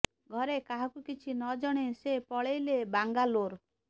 ଘରେ କାହାକୁ କିଛି ନ ଜଣେଇ ସେ ପଳେଇଲେ ବାଙ୍ଗାଲୋର